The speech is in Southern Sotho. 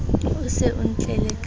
o se o ntlela ka